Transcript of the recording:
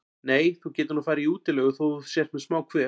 Nei, þú getur nú farið í útilegu þótt þú sért með smá kvef.